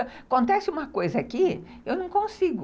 Acontece uma coisa aqui, eu não consigo.